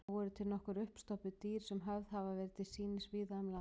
Þó eru til nokkur uppstoppuð dýr sem höfð hafa verið til sýnis víða um land.